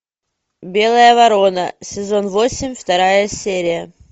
белая ворона сезон восемь вторая серия